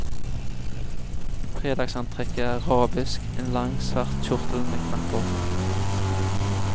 Fredagsantrekket er arabisk, en lang, svart kjortel med knapper.